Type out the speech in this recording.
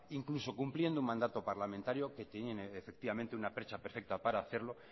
incluso cumpliendo un mandato parlamentario que tiene efectivamente una percha perfecta para hacerlo